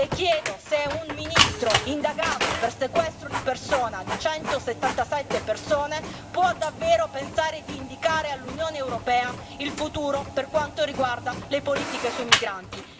Le chiedo se un ministro indagato per sequestro di persona di 177 persone può davvero pensare di indicare all'Unione europea il futuro per quanto riguarda le politiche su migranti.